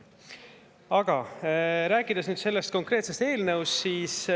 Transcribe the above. Aga räägin nüüd sellest konkreetsest eelnõust.